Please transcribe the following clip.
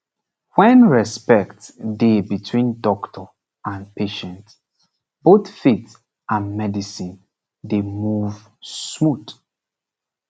when respect dey between doctor and patient both faith and medicine dey move smooth